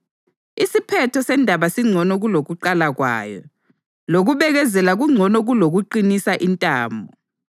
Isiphetho sendaba singcono kulokuqala kwayo, lokubekezela kungcono kulokuqinisa intamo.